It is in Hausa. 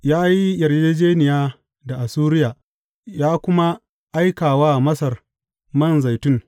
Ya yi yarjejjeniya da Assuriya ya kuma aika wa Masar man zaitun.